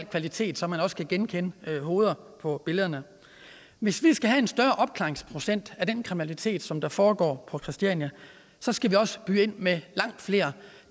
kvalitet så man også kan genkende hoveder på billederne hvis vi skal have en større opklaringsprocent af den kriminalitet som der foregår på christiania så skal vi også byde ind med langt flere